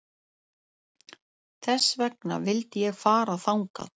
Þess vegna vildi ég fara þangað